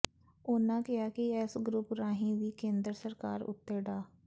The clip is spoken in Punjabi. ਉਹਨਾਂ ਕਿਹਾ ਕਿ ਇਸ ਗਰੁੱਪ ਰਾਹੀਂ ਵੀ ਕੇਂਦਰ ਸਰਕਾਰ ਉੱਤੇ ਡਾ